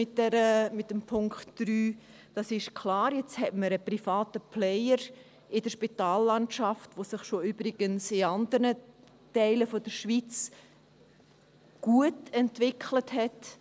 Das ist klar, nun hat man einen privaten Player in der Spitallandschaft, die sich übrigens schon in anderen Teilen der Schweiz gut entwickelt hat.